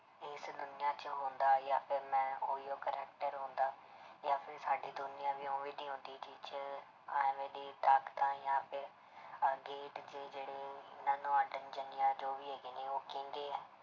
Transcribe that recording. ਇਸ ਦੁਨੀਆਂਂ 'ਚ ਹੁੰਦਾ ਜਾਂ ਫਿਰ ਮੈਂ ਉਹੀਓ character ਹੁੰਦਾ ਜਾਂ ਫਿਰ ਸਾਡੀ ਦੁਨੀਆਂ ਵੀ ਉਵੇਂ ਦੀ ਹੁੰਦੀ ਜਿਹ 'ਚ ਇਵੇਂ ਦੀ ਤਾਕਤਾਂ ਜਾਂ ਫਿਰ ਅਹ gate ਜਿਹੜੇ ਮੈਨੂੰ ਜਾਂ ਜੋ ਵੀ ਹੈਗੇ ਨੇ ਉਹ ਕਹਿੰਦੇ ਹੈ